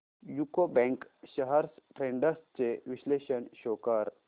UCO bank shares trends चे विश्लेषण show कर